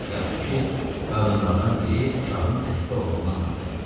Yaxşı ki, qadınlardan biri uşağın xəstə olduğunu anladı.